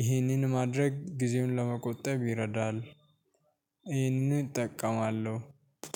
ይህንን ማድረግ ጊዜውን ለመቆጠብ ይረዳል ይህን እጠቀማለሁ።